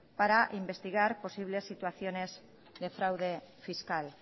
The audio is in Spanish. para investigar posibles situaciones de fraude fiscal